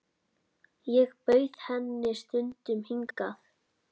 Ég bauð henni stundum hingað.